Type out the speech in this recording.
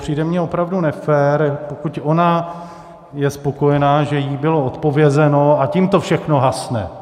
Přijde mi opravdu nefér, pokud ona je spokojena, že jí bylo odpovězeno, a tím to všechno hasne.